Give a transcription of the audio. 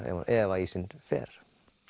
ef að ísinn fer